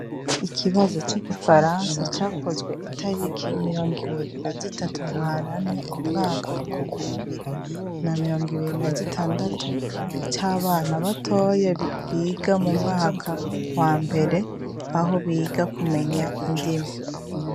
Ikibazo c'igifaransa cakozwe itariki mirongibiri na zitatu ntwarante umwaka w'ibihumbi bibibiri na mirongibiri na gatandatu, c'abana batoya biga mu mwaka wa mbere aho biga kumenya indimi.